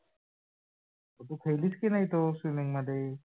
तू खेडलीस की नाही तो swimming मध्ये?